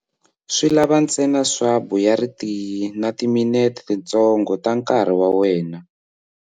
Swi lava ntsena swabu ya ritiyi na timinete tintsongo ta nkarhi wa wena.